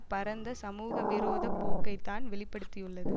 பரந்த சமூக விரோத போக்கைத்தான் வெளி படுத்தியுள்ளது